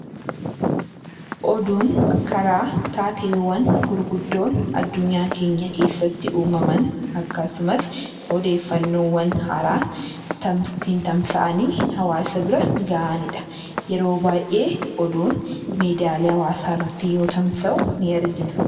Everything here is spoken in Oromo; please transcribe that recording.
Oduun karaa taateewwan gurguddoon addunyaa keenya keessatti uumaman, akkasumas odeeffannoowwan haaraan ittiin tamsa'anii hawaasa bira gahani dha. Yeroo baay'ee oduun miidiyaalee hawaasaa irratti yoo tamsa'u nii argina.